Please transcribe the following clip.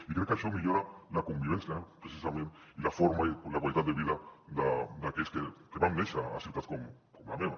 i crec que això millora la convivència precisament i la forma i la qualitat de vida d’aquells que vam néixer a ciutats com la meva